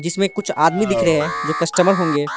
इसमें कुछ आदमी दिख रहे हैं जो कस्टमर होंगे।